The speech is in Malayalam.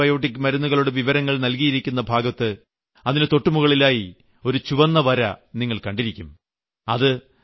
ഇന്ന് വിൽക്കുന്ന ആന്റിബയോട്ടിക് മരുന്നുകളുടെ വിവരങ്ങൾ നൽകിയിരിക്കുന്ന ഭാഗത്ത് അതിന് തൊട്ടുമുകളിലായി ഒരു ചുവന്ന വര നിങ്ങൾ കണ്ടിരിക്കാം